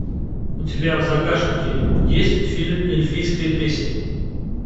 у тебя в загашнике есть фильм эльфийская песнь